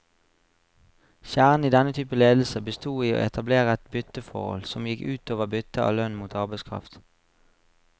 Kjernen i denne typen ledelse bestod i å etablere et bytteforhold, som gikk ut over byttet av lønn mot arbeidskraft.